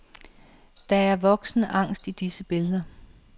Der er voksen angst i disse billeder.